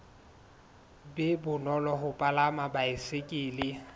be bonolo ho palama baesekele